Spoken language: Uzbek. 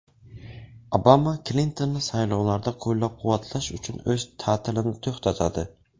Obama Klintonni saylovlarda qo‘llab-quvvatlash uchun o‘z ta’tilini to‘xtatadi.